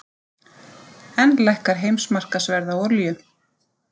Enn lækkar heimsmarkaðsverð á olíu